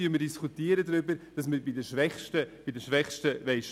Nun diskutieren wir hier darüber, dass wir bei den Schwächsten sparen wollen.